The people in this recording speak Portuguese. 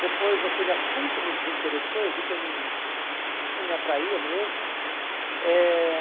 Depois aquele assunto me desinteressou, eu vi que não não aquilo não me atraía mesmo. Eh